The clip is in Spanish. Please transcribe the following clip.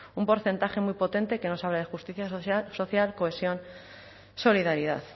un porcentaje muy potente que nos habla de justicia social cohesión solidaridad